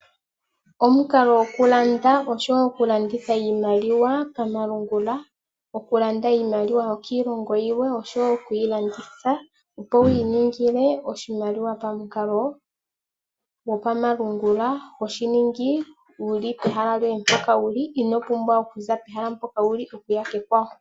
Omukalo gokulanda oshowo okulanditha iimaliwa pamalungula. Okulanda iimaliwa yokiilongo yilwe oshowo oku yi landitha, opo wi ningile oshimaliwa pamukalo gopamalungula. Oho shi ningi wu li pehala mpoka wu li, ino pumbwa okuza pehala lyoye mpoka wu li okuya kekwawo.